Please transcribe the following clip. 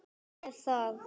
er það?